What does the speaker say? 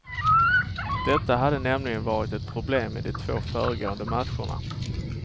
Detta hade nämligen varit ett problem i de två föregående matcherna.